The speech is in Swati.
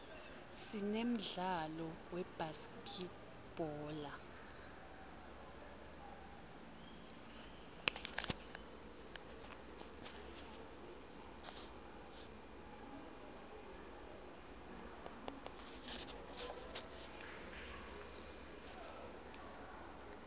sinemdlalo webhaskidbhola